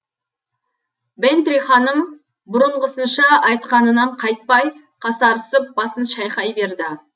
бэнтри ханым бұрынғысынша айтқанынан қайтпай қасарысып басын шайқай берді